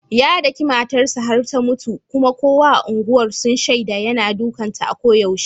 Ya daki matar sa har ta mutu, kuma kowa a unguwar sun shaida yana dukan ta a ko yaushe.